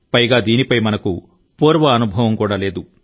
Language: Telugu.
పైగా దీనిపై మనకు పూర్వ అనుభవం కూడా లేదు